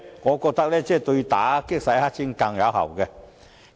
我認為這樣對打擊洗黑錢更為有效。